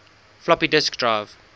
floppy disk drive